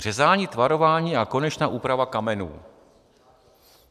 Řezání, tvarování a konečná úprava kamenů.